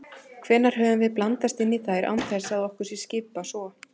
Hvenær höfum við blandast inn í þær án þess að okkur sé skipað svo?